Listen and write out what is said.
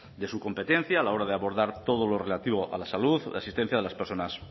de su competencia a la hora de abordar todo lo relativo a la salud la existencia de las personas